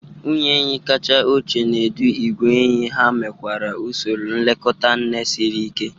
Nwunye enyi kacha ochie na-edu igwe enyí, ha nwekwara usoro nlekọta nne siri ike.